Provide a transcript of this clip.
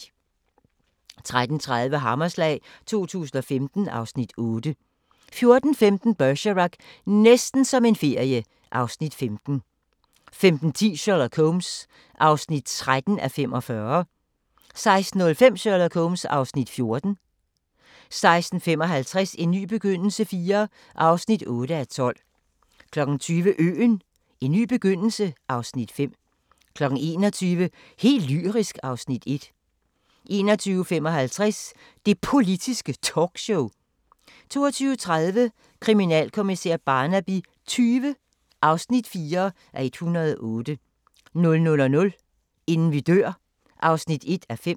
13:30: Hammerslag 2015 (Afs. 8) 14:15: Bergerac: Næsten som en ferie (Afs. 15) 15:10: Sherlock Holmes (13:45) 16:05: Sherlock Holmes (Afs. 14) 16:55: En ny begyndelse IV (8:12) 20:00: Øen - en ny begyndelse (Afs. 5) 21:00: Helt lyrisk (Afs. 1) 21:55: Det Politiske Talkshow 22:30: Kriminalkommissær Barnaby XX (4:108) 00:00: Inden vi dør (1:5)